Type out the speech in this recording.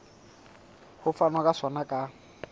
ho fanwa ka sona ka